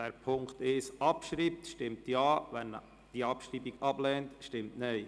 Wer diesen abschreibt, stimmt Ja, wer die Abschreibung ablehnt, stimmt Nein.